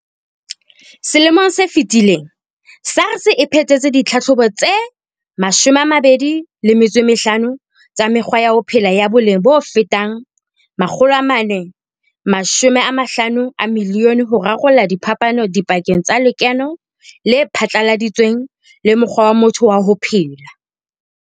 Selemong se fetileng, SARS e phethetse ditlhatlhobo tse 25 tsa mekgwa ya ho phela ya boleng bofetang R450 milione ho rarolla diphapano dipakeng tsa lekeno le phatlaladitsweng le mokgwa wa motho wa ho phela.